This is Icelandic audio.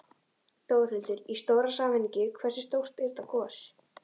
Þórhildur: Í stóra samhenginu, hversu stórt er þetta gos?